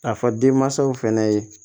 A fɔ denmansaw fana ye